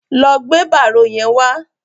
Lọ gbé bárò yẹn wá.